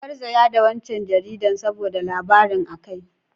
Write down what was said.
An garzaya da waccan jaridar saboda labarin a kai.